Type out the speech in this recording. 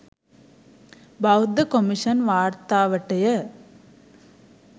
බෞද්ධ කොමිෂන් වාර්තාවටය